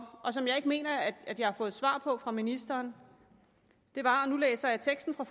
og som jeg ikke mener at jeg har fået svar på fra ministeren var og nu læser jeg teksten på